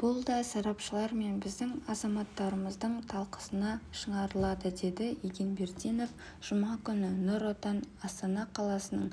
бұл да сарапшылар мен біздің азаматтарымыздың талқысына шыңарылады деді егенбердинов жұма күні нұр отан астана қаласының